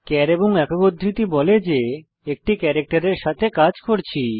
চার এবং একক উদ্ধৃতি বলে যে আমরা একটি ক্যারাক্টের এর সাথে কাজ করছি